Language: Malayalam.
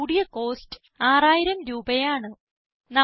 ഏറ്റവും കൂടിയ കോസ്റ്റ് 6000 രൂപയാണ്